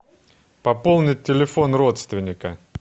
пополнить телефон родственника